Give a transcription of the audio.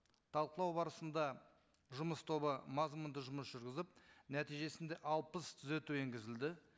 талқылау барысында жұмыс тобы мазмұнды жұмыс жүргізіп нәтижесінде алпыс түзету енгізілді